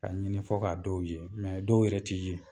K'a ɲini fɔ k'a dɔw ye dɔw yɛrɛ ti ye.